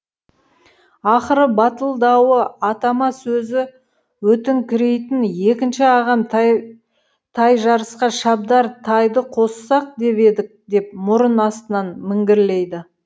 ақыры батылдауы атама сөзі өтіңкірейтін екінші ағам тайжарысқа шабдар тайды қоссақ деп едік деп мұрын астынан міңгірлейді